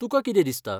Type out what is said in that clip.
तुका कितें दिसता?